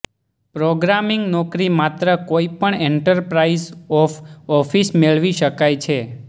programming નોકરી માત્ર કોઇ પણ એન્ટરપ્રાઇઝ ઓફ ઓફિસ મેળવી શકાય છે